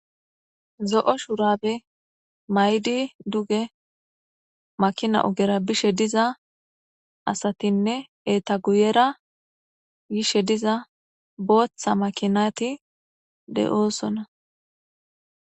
Zo'o shuraabe mayidi duge makina ogera bishe diza asatinne eta guyera yishe diza booththa makinati de'osona.